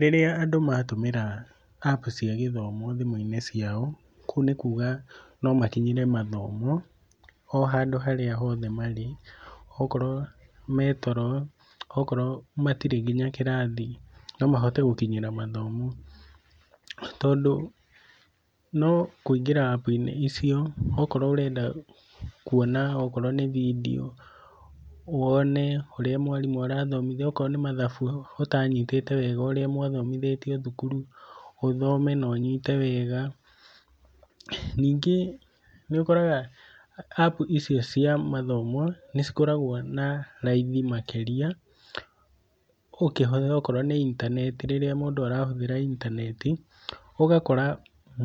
Rĩrĩa andũ matũmĩra App cia gĩthomo thimũ-inĩ ciao, kũu nĩ kuuga no makinyĩre mathomo o handũ harĩa hothe marĩ. Okorwo me toro, okorwo matirĩ nginya kĩrathi, no mahote gũkinyĩra mathomo. Tondũ no kũingĩra App inĩ icio okorwo ũrenda kuona okorwo nĩ video, wone ũrĩa mwarimũ arathomithia, okorwo nĩ mathabu ũtanyitĩte wega ũrĩa mwathomithĩtio thukuru ũthome na ũnyite wega. Ningĩ nĩ ũkoraga App icio cia mathomo cikoragwo na raithi makĩria ũkĩhũthĩra okorwo nĩ intaneti rĩrĩa mũndũ arahũthĩra intaneti. Ũgakora